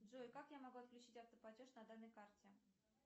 джой как я могу отключить автоплатеж на данной карте